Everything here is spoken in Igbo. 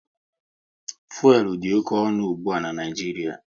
Fuelu dị oké ọnụ ụgbụa n'Naijiria